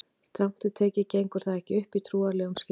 Strangt til tekið gengur það ekki upp í trúarlegum skilningi.